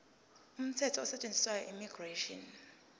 umthetho osetshenziswayo immigration